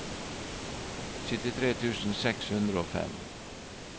syttitre tusen seks hundre og fem